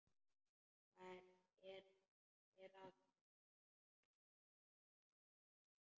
Hvað er að, pabbi?